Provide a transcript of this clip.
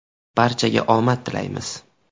Barchaga omad tilaymiz.